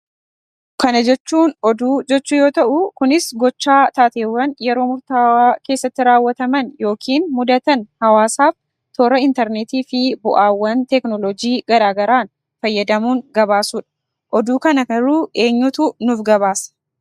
Kana jechuun oduu jechuu yoo ta'uu kunis Gochaa taateewwan yeroo murtaawaa keessatti raawwataman yookiin mudatan hawaasaaf toora interneetii fi bu'aawwan teekinooloojii garaa garaan fayyadamuun gabaasuudha. Oduu kana garuu eenyutu nuuf gabaasa?